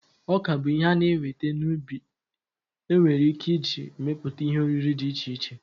Ọka bụ ihe a na-enweta n'ubi enwere ike iji emepụta ihe oriri dị iche iche.